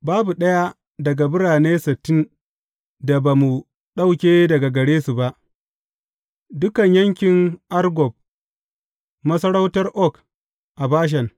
Babu ɗaya daga birane sittin da ba mu ɗauke daga gare su ba, dukan yankin Argob, masarautar Og a Bashan.